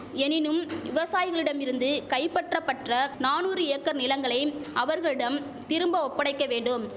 எனினும் விவசாயிகளிடமிருந்து கைபற்றபற்ற நானூறு ஏக்கர் நிலங்களை அவர்களிடம் திரும்ப ஒப்படைக்க வேண்டும்